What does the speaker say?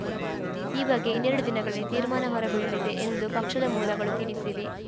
ಈ ಬಗ್ಗೆ ಇನ್ನೆರಡು ದಿನಗಳಲ್ಲಿ ತೀರ್ಮಾನ ಹೊರಬೀಳಲಿದೆ ಎಂದು ಪಕ್ಷದ ಮೂಲಗಳು ತಿಳಿಸಿವೆ